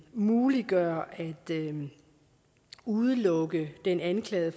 muliggør at udelukke den anklagede